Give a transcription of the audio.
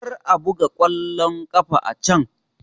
Kar a buga ƙwallon kafa a can!